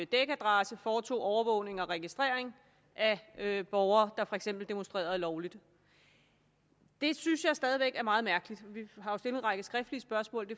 dækadresse foretog overvågning og registrering af af borgere der for eksempel demonstrerede lovligt det synes jeg stadig væk er meget mærkeligt vi har jo stillet en række skriftlige spørgsmål